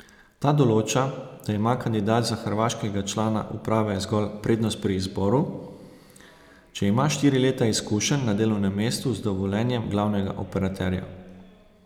Ta določa, da ima kandidat za hrvaškega člana uprave zgolj prednost pri izboru, če ima štiri leta izkušenj na delovnem mestu z dovoljenjem glavnega operaterja.